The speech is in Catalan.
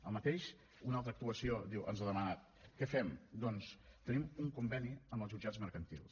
el mateix una altra actuació diu ens ha demanat què fem doncs tenim un conveni amb els jutjats mercantils